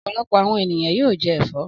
Ọ̀pọ̀lọpọ̀ àwọn ènìyàn yóò jẹ ẹ̀fọ́.